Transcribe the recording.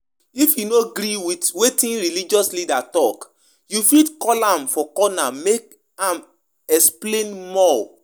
Tell your pastor with respect say you no get when you no get